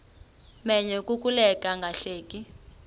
menyo kukuleka ungahleki